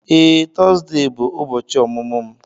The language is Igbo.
Ee, Tọzdee bụ ubochi ọmụmụ m.